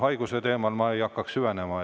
Haiguse teemasse ma ei hakkaks süvenema.